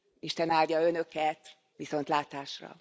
Isten áldja Önöket, viszontlátásra!